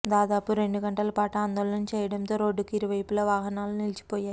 దాదాపు రెండు గంటల పాటు ఆందోళన చేయడంతో రోడ్డు కు ఇరువైపులా వాహనాలు నిలిచిపోయాయి